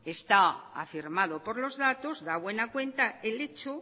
está afirmada por los datos da buena cuenta el hecho